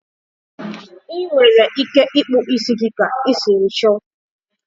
Ị nwere ike ịkpụ ísí gị ka i siri chọ